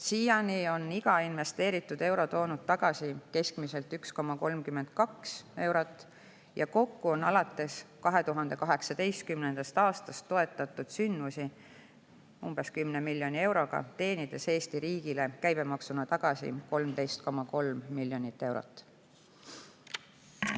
Siiani on iga investeeritud euro toonud tagasi keskmiselt 1,32 eurot ja kokku on alates 2018. aastast toetatud sündmusi umbes 10 miljoni euroga, teenides Eesti riigile käibemaksuna tagasi 13,3 miljonit eurot.